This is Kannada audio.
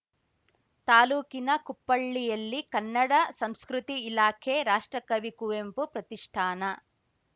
ತಾಲೂಕಿನ ಕುಪ್ಪಳ್ಳಿಯಲ್ಲಿ ಕನ್ನಡ ಸಂಸ್ಕೃತಿ ಇಲಾಖೆ ರಾಷ್ಟ್ರಕವಿ ಕುವೆಂಪು ಪ್ರತಿಷ್ಠಾನ